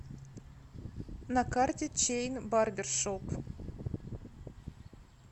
на карте чейн барбершоп